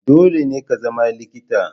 Dole ne ka zama likita.